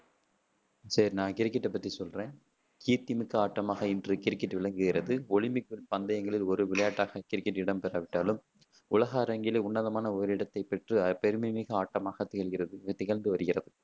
சரி நான் கிரிக்கெட்ட பத்தி சொல்றேன் கீர்த்தி மிக்க ஆட்டமாக இன்று கிரிக்கெட் விளங்குகிறது ஒலிம்பிக் பந்தயங்களில் ஒரு விளையாட்டாக கிரிக்கெட் இடம் பெறா விட்டாலும் உலக அரங்கில் உன்னதமான ஒரு இடத்தை பெற்று பெருமை மிகு ஆட்டமாக திகழ்கிறது திகழ்ந்து வருகிறது.